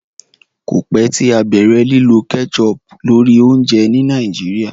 kọ pẹ tí a bẹrẹ lilọ ketchup lórí oúnjẹ ní Nigeria